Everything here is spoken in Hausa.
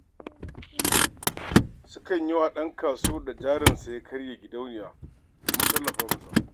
Sukan yi wa ɗan kasuwar da jarinsa ya karye gidauniya domin tallafa masa.